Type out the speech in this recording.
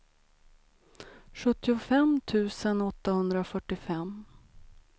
sjuttiofem tusen åttahundrafyrtiofem